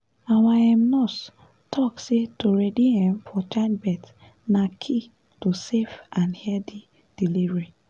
our um nurse talk say to ready um for childbirth na key to safe and healthy delivery